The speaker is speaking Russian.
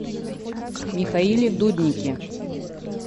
михаиле дуднике